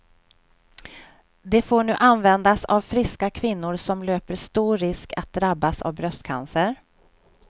Det får nu användas av friska kvinnor som löper stor risk att drabbas av bröstcancer.